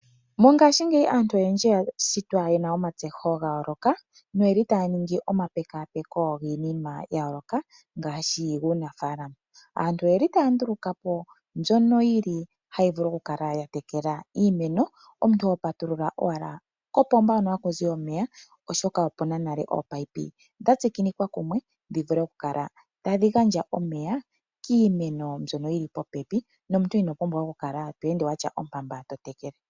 Mongaashingeyi aantu oyendji oyashitwa yena omatseyiko ga yooloka noyeli taya ningi omapekapeko giinima ya yooloka ngaashi yuunafaalama . Aantu oyeli taya ndulukapo mbyono yili tayi vulu oku tekela iimeno. omuntu ho patulula owala kopomba hono hakuzi omeya oshoka okuna nale ominino tadhi gandja omeya nomuntu inopumbwa okukala to ende watya ompamba ti tekele.